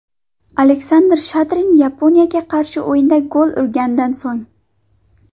Aleksandr Shadrin Yaponiyaga qarshi o‘yinda gol urgandan so‘ng.